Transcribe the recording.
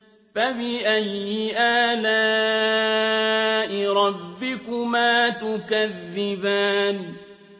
فَبِأَيِّ آلَاءِ رَبِّكُمَا تُكَذِّبَانِ